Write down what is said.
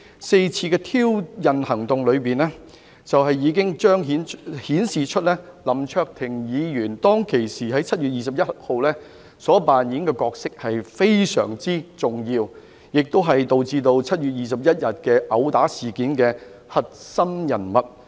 四次的挑釁行動裏，已經顯示出林卓廷議員在7月21日當時所扮演的角色非常重要，他亦是導致7月21日毆打事件的核心人物。